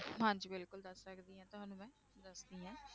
ਹਾਂਜੀ ਬਿਲਕੁਲ ਦੱਸ ਸਕਦੀ ਹਾਂ ਤੁਹਾਨੂੰ ਦੱਸਦੀ ਹਾਂ